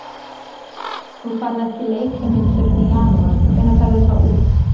Nú færðu ekki leikheimild fyrr en í janúar, hvenær ferðu þá út?